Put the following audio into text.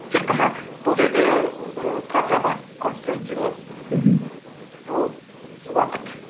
тек қана бұл жерде ііі проблема констрейнт дейді ғой мхм ол уақыт